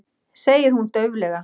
segir hún dauflega.